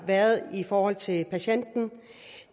været i forhold til patienten